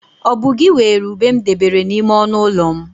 Ọ bu gị weere ube m debere n'ime ọnụ ụlọ m?